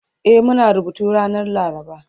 E Muna rubutu ranar laraba